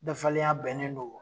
Dafalenya bɛnnen don